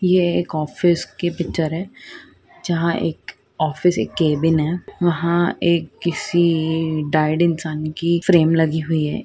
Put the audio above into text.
यह एक ऑफिस की पिक्चर है जहा एक ऑफिस एक केबिन है वहा एक किसी डाइड इंसान की फ्रेम लगी हुई है।